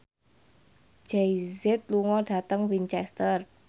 Jay Z lunga dhateng Winchester